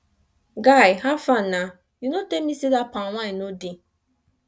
guy howfar na you no tell me say that palm wine no dey